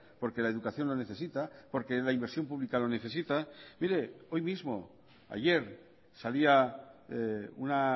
porque la educación lo necesita porque la inversión pública lo necesita mire hoy mismo ayer salía una